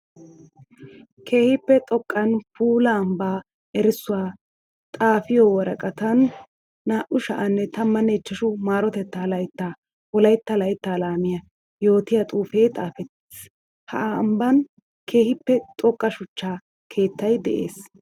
Keehippe xoqqanne puula ambba erissuwa xaafiyo woraqqatan 2015 m.l laytta wolaytta laytta laamiya yootiya xuufe xaafetiis. Ha ambban keehippe xoqqa shuchcha keettay de'ees.